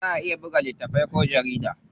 Za a iya buga littatafai ko jarida.